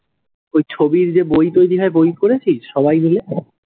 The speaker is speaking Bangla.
ওই ছবির যে বই তৈরি হয়, বই করেছিস সবাই মিলে?